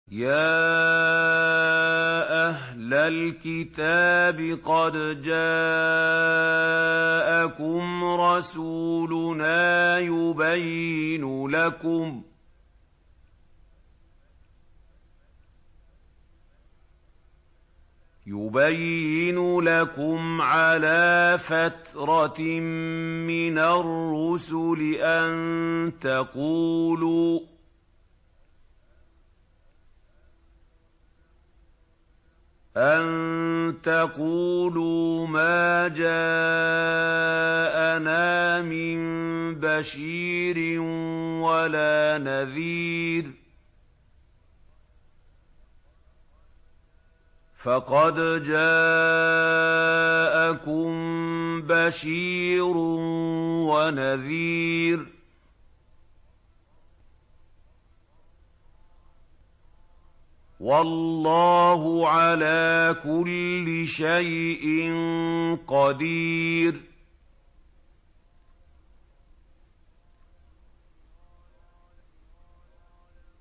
يَا أَهْلَ الْكِتَابِ قَدْ جَاءَكُمْ رَسُولُنَا يُبَيِّنُ لَكُمْ عَلَىٰ فَتْرَةٍ مِّنَ الرُّسُلِ أَن تَقُولُوا مَا جَاءَنَا مِن بَشِيرٍ وَلَا نَذِيرٍ ۖ فَقَدْ جَاءَكُم بَشِيرٌ وَنَذِيرٌ ۗ وَاللَّهُ عَلَىٰ كُلِّ شَيْءٍ قَدِيرٌ